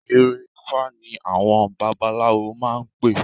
Ìyẹ̀rẹ̀-ifá ni àwọn babaláwo máa ń pè